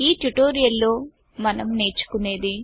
ఈ ట్యుటోరియల్ లో మనం నేర్చుకునేది